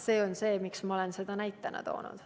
See on põhjus, miks ma olen seda näitena toonud.